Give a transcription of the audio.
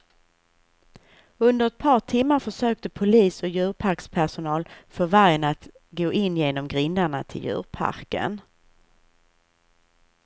Under ett par timmar försökte polis och djurparkspersonal få vargen att gå in genom grindarna till djurparken.